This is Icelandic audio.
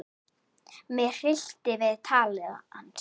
Mig hryllti við tali hans.